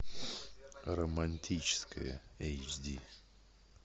романтическое эйч ди